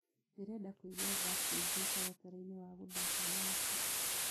ndĩrenda kũĩgwa verckys mũtaratara wa guthaka dancĩ